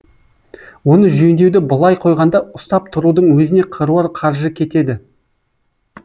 оны жөндеуді былай қойғанда ұстап тұрудың өзіне қыруар қаржы кетеді